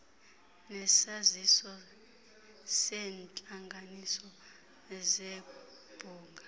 nesaziso seentlanganiso zebhunga